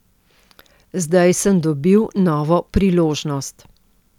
Zdaj sem dobil novo priložnost.